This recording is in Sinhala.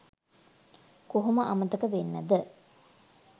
කොහොම අමතක වෙන්නද